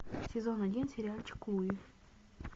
сезон один сериальчик луи